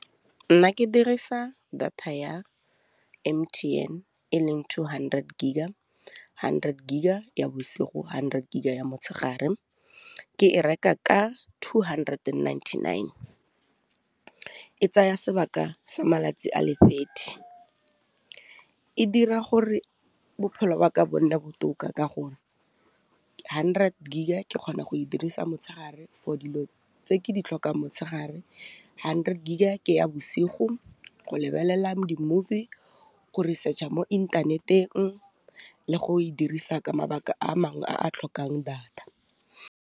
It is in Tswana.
Nna ke dirisa data ya M_T_N e leng two hundred giga hundred giga ya bosigo, hundred giga ya motshegare, ke e reka ka two hundred and ninety nine. E tsaya sebaka sa malatsi a le thirty, e dira gore bophelo ba ka bo nne botoka ka gore hundred giga ke kgona go e dirisa motshegare for dilo tse ke di tlhokang motshegare, hundred giga ke ya bosigo go lebelela dimovie, go research-a mo ethaneteng le go e dirisa ka mabaka a mangwe a a tlhokang data.